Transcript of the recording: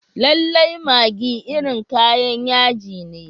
Lallai maggi irin kayan yaji ne.